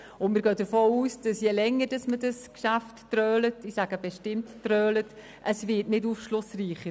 Wir gehen davon aus, dass das Geschäft nicht aufschlussreicher wird, je länger man es trölt – ich betone: trölt.